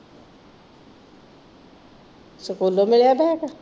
ਸਕੂਲੋਂ ਮਿਲਿਆਂ ਬੈਗ?